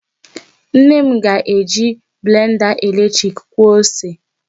Nne m ga-eji blenda eletrik kwọọ ose.